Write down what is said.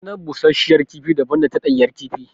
Ɗanɗanon bushashiyar kifi daban da ta ɗanyar kifi.